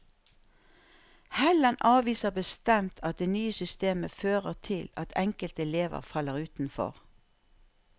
Helland avviser bestemt at det nye systemet fører til at enkelte elever faller utenfor.